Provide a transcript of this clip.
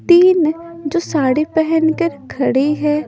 तीन जो साड़ी पहनकर खड़ी है।